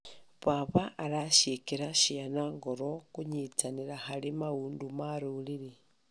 Baba areciĩkĩra ciana ngoro kũnyitanĩra harĩ maũndũ ma rũrĩrĩ.